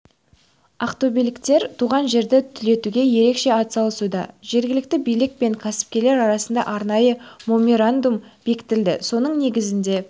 ақтөбеліктер туған жерді түлетуге ерекше атсалысуда жергілікті билік пен кәсіпкерлер арасында арнайы меморандум бекітілді соның негізінде